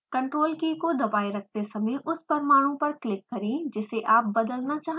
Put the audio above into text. ctrl की को दबाये रखते समय उस परमाणु पर क्लिक करें जिसे आप बदलना चाहते हों